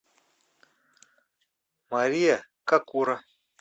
мария какура